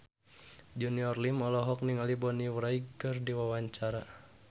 Junior Liem olohok ningali Bonnie Wright keur diwawancara